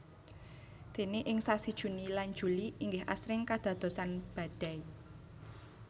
Déné ing sasi Juni lan Juli inggih asring kadadosan badai